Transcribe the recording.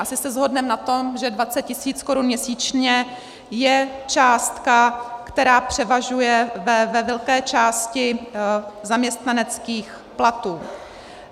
Asi se shodneme na tom, že 20 000 korun měsíčně je částka, která převažuje ve velké části zaměstnaneckých platů.